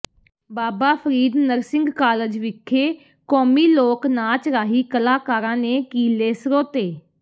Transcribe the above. ਬਾਬਾ Farid nursing college ਵਿਖੇ ਕੌਮੀ ਲੋਕ ਨਾਚ ਰਾਹੀਂ ਕਲਾਕਾਰਾਂ ਨੇ ਕੀਲੇ ਸਰੋਤੇੇ